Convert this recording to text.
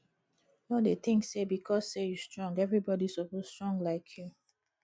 no dey think say because sey you strong everybody suppose strong like you